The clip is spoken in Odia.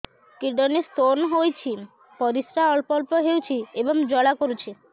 କିଡ଼ନୀ ସ୍ତୋନ ହୋଇଛି ପରିସ୍ରା ଅଳ୍ପ ଅଳ୍ପ ହେଉଛି ଏବଂ ଜ୍ୱାଳା କରୁଛି